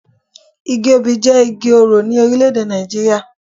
Igi obì jé Igi orò in Orílèdè Nàìjíríà